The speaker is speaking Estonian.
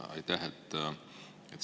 Aitäh!